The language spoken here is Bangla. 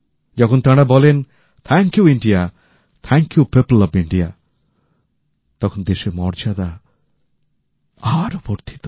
যখন তাঁরা বলেন thank you India thank you people of India তখন দেশের মর্যাদা আরও বেড়ে যায়